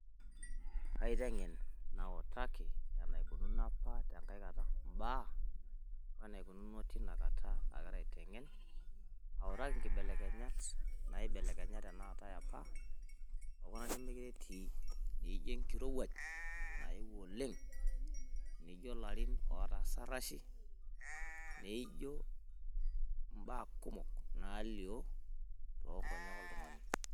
Aiteng'en nautaki enaikununo apa tenkai kata imbaa oo enaikununo tina kata agira aiteng'en autaki inkibelekenyat naibelekenyate apa okuna nemeekure etii naa ijo enkirowuaj naewuo oleng' olarin pookin ootaa sarashi naa aijo imbaa kumok naalio toonkonyek oltung'ani.